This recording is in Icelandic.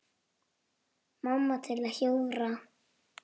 Mamma til að hjúfra.